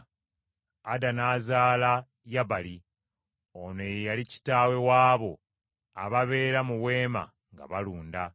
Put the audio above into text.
Ada n’azaala Yabali. Ono ye yali kitaawe w’abo ababeera mu weema nga balunda.